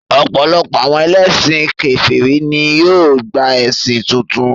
Ọ̀pọ̀lọpọ̀ àwọn ẹlẹ́sìn kèfèrí ní yóò gba ẹ̀sìn tuntun